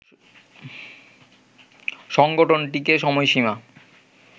সংগঠনটিকে সময়সীমা